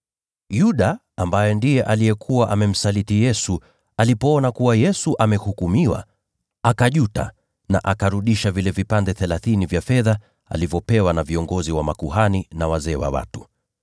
Yuda, ambaye alikuwa amemsaliti Yesu, alipoona kuwa Yesu amehukumiwa, akajuta na akarudisha vile vipande thelathini vya fedha alivyopewa na viongozi wa makuhani na wazee wa watu.